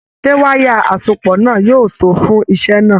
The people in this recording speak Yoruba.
Ṣe wayà asopọ náà yóò tó fún iṣẹ náà?